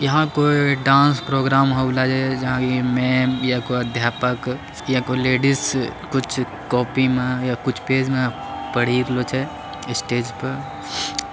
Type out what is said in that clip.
यहां कोई dance program हो रहा है जहाँ कोई मेम कोई अध्यापक या कोई लेडीज कुछ कॉपी मा या कुछ पेज मा पड़ी रहल छय स्टेज पर --